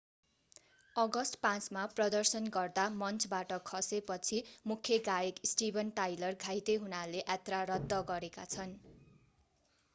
August 5 मा प्रदर्शन गर्दा मञ्चबाट खसे पछि मूख्य गायक स्टीभन टाइलर घाइते हुनाले यात्रा रद्द गरेका छन्